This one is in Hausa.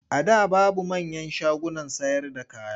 A da babu manyan shagunan sayarda kaya.